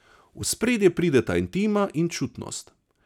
V ospredje prideta intima in čutnost.